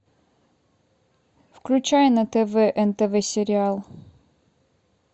включай на тв нтв сериал